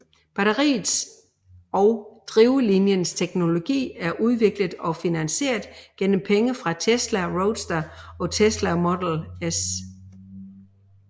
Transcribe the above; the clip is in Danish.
Batteriets og drivlinjens teknologi er udviklet og finansieret gennem penge fra Tesla Roadster og Tesla Model S